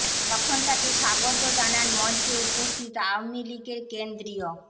তখন তাকে স্বাগত জানান মঞ্চে উপস্থিত আওয়ামী লীগের কেন্দ্রীয়